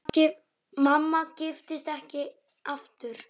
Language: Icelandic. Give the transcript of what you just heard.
Mamma giftist ekki aftur.